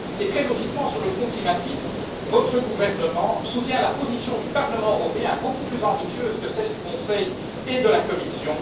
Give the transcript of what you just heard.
Très logiquement, sur le front climatique, votre gouvernement soutient la position du Parlement européen, beaucoup plus ambitieuse que celle du Conseil et de la Commission.